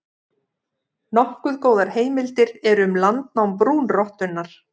Nokkuð góðar heimildir eru um landnám brúnrottunnar.